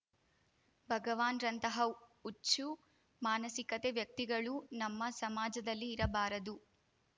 ಭಗವಾನ್‌ರಂತಹ ಹುಚ್ಚು ಮಾನಸಿಕತೆ ವ್ಯಕ್ತಿಗಳು ನಮ್ಮ ಸಮಾಜದಲ್ಲಿ ಇರಬಾರದು